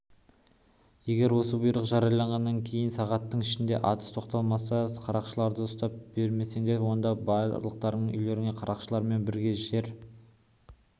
егер осы бұйрық жарияланғаннан кейін сағаттың ішінде атыс тоқталмаса қарақшыларды ұстап бермесеңдер онда барлықтарыңның үйлерің қарақшылармен бірге жер